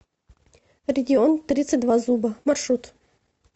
регион тридцать два зуба маршрут